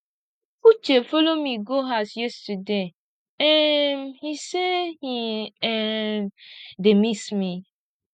uche follow me go house yesterday um he say he um dey miss me